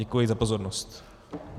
Děkuji za pozornost.